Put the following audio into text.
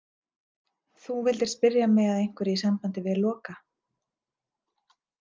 Þú vildir spyrja mig að einhverju í sambandi við Loka.